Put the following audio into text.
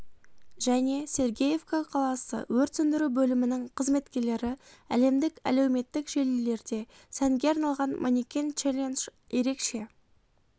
және сергеевка қаласы өрт сөндіру бөлімінің қызметкерлері әлемдік әлеуметтік желілерде сәнге айналған манекен челлендж ерекше